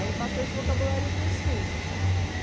Aí passou esse vocabulário para os filhos.